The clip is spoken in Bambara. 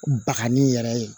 Bakanni yɛrɛ ye